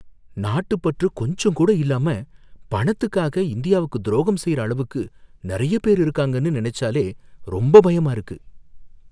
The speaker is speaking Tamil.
நாட்டுப் பற்று கொஞ்சம் கூட இல்லாம பணத்துக்காக இந்தியாவுக்கு துரோகம் செய்யுற அளவுக்கு நறைய பேர் இருக்காங்கனு நினைச்சாலே ரொம்ப பயமா இருக்கு.